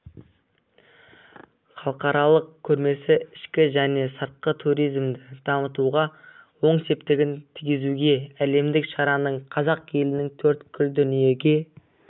халықаралық көрмесі ішкі және сыртқы туризмді дамытуға оң септігін тигізуде әлемдік шараның қазақ елінің төрткүл дүниеге